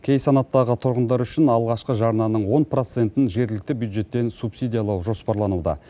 кей санаттағы тұрғындар үшін алғашқы жарнаның он процентін жергілікті бюджеттен субсидиялау жоспарлануда